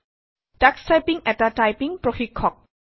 Tux typing এটা typing প্ৰশিক্ষক